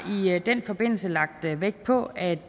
den forbindelse lagt vægt på at